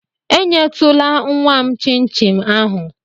Enyetụla nnwa m chịn chin ahụ!